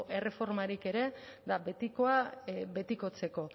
erreformarik ere eta betikoa betikotzeko